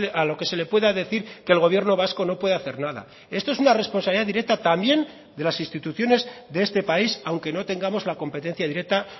a lo que se le pueda decir que el gobierno vasco no puede hacer nada esto es una responsabilidad directa también de las instituciones de este país aunque no tengamos la competencia directa